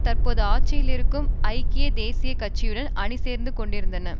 தற்போது ஆட்சியில் இருக்கும் ஐக்கிய தேசிய கட்சியுடன் அணிசேர்ந்துகொண்டிருந்தன